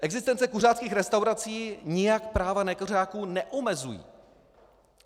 Existence kuřáckých restaurací nijak práva nekuřáků neomezují.